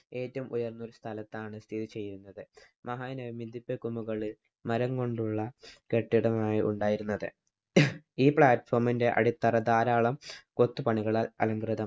ഏറ്റവും ഉയര്‍ന്ന സ്ഥലത്താണ് സ്ഥിതി ചെയ്യുന്നത്. മഹാനവമി ദിബ്ബക്കുന്നുകളില്‍ മരം കൊണ്ടുള്ള കെട്ടിടങ്ങളാണുണ്ടായിരുന്നത്. ഈ platform ന്‍റെ അടിത്തറ ധാരാളം കൊത്തുപ്പണികളാല്‍ അലംകൃതമാണ്.